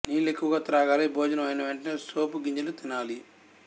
నీళ్లు ఎక్కువగా త్రాగాలి భోజనం అయిన వెంటనే సోపు గింజలు తినాలి